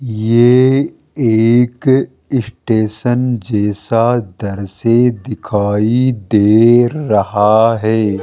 ये एक स्टेशन जैसा दृश्य दिखाई दे रहा है।